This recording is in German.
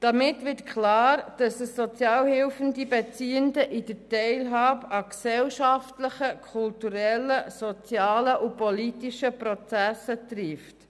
Damit wird klar, dass diese Kürzung die Sozialhilfebeziehenden in der Teilhabe an gesellschaftlichen, kulturellen, sozialen und politischen Prozessen trifft.